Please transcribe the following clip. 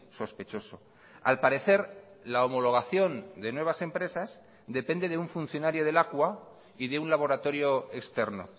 sospechoso al parecer la homologación de nuevas empresas depende de un funcionario de lakua y de un laboratorio externo